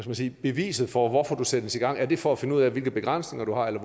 man sige beviset for hvorfor sættes i gang er det for at finde ud af hvilke begrænsninger du har eller